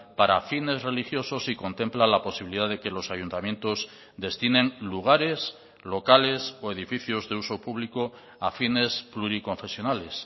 para fines religiosos y contempla la posibilidad de que los ayuntamientos destinen lugares locales o edificios de uso público a fines pluriconfesionales